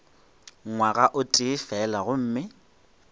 ngwaga o tee fela gomme